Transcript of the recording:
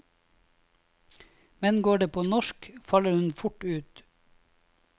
Men går det på norsk, faller hun fort ut.